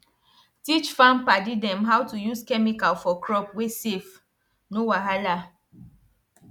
teach farm padi dem how to use chemical for crop wey safe no wahala